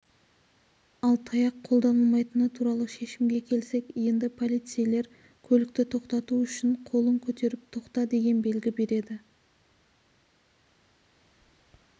ал таяқ қолданылмайтыны туралы шешімге келсек енді полицейлер көлікті тоқтату үшін қолын көтеріп тоқта деген белгі береді